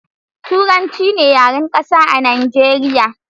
Turanci ne yaren Ƙasa a Nijeriya